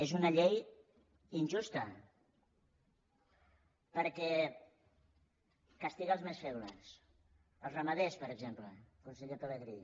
és una llei injusta perquè castiga els més febles els ramaders per exemple conseller pelegrí